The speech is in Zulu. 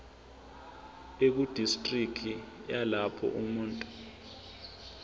ekudistriki yalapho umuntu